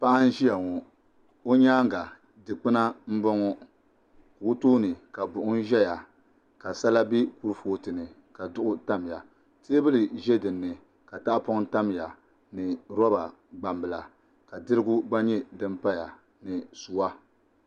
Paɣa n ʒiya ŋo o nyaanga dikpuna n boŋo o tooni ka buɣum ʒɛya ka sala bɛ kurifooti ni ka duɣu tamya teebuli ʒɛ dinni ka tahapoŋ tamya ni roba gbambila ka dirigu gba nyɛ din paya ni suwa